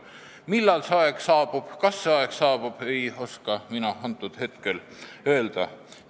Millal see aeg saabub, kas see aeg saabub, ei oska mina hetkel öelda.